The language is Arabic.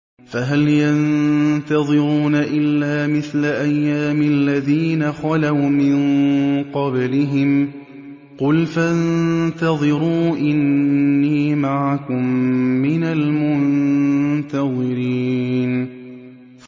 فَهَلْ يَنتَظِرُونَ إِلَّا مِثْلَ أَيَّامِ الَّذِينَ خَلَوْا مِن قَبْلِهِمْ ۚ قُلْ فَانتَظِرُوا إِنِّي مَعَكُم مِّنَ الْمُنتَظِرِينَ